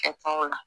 Kɛkun la